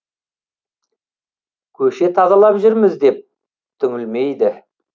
көше тазалап жүрміз деп түңілмейді